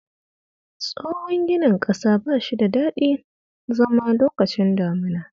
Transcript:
Tsohon ginin ƙasa ba shi da dadin zama lokacin damuna